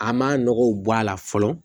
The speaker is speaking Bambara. An man nɔgɔw bɔ a la fɔlɔ